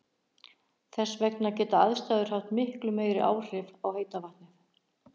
Þess vegna geta aðstæður haft miklu meiri áhrif á heita vatnið.